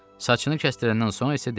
Saçını kəsdirəndən sonra isə dedi: